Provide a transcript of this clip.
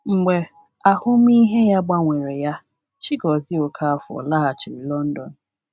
Mgbe ahụmịhe ya gbanwere ya, Chigozie Okafor laghachiri London.